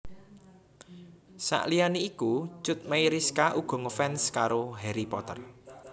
Saliyané iku Cut Meyriska uga ngefans karo Harry Potter